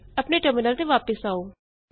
ਆਪਣੇ ਟਰਮਿਨਲ ਤੇ ਵਾਪਸ ਆਉੇ